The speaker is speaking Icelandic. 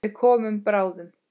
Við komum bráðum.